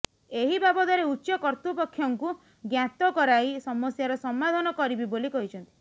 ଏହି ବାବଦରେ ଉଚ୍ଚ କର୍ତ୍ତୃପକ୍ଷଙ୍କୁ ଜ୍ଞାତ କରାଇ ସମସ୍ୟାର ସମାଧାନ କରିବି ବୋଲି କହିଛନ୍ତି